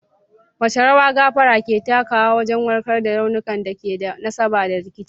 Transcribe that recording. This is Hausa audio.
Wace rawa gafara ke takawa wajen warkar da raunukan da ke da nasaba da rikici?